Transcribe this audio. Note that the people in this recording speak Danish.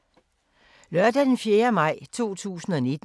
Lørdag d. 4. maj 2019